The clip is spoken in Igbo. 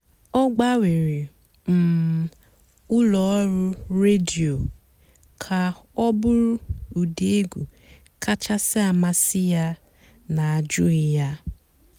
ọ́ gbànwèré um ụ́lọ́ ọ̀rụ́ rédíò kà ọ̀ bụ́rụ́ ụ́dị́ ègwú kàchàsị́ àmásị́ yá n'àjụ́ghị́ yá.